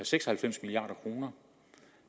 seks og halvfems milliard kroner og